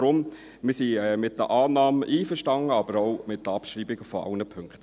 Deshalb sind wir mit der Annahme einverstanden, aber auch mit der Abschreibung aller Punkte.